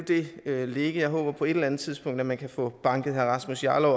ligge jeg håber på et eller andet tidspunkt at man kan få banket herre rasmus jarlov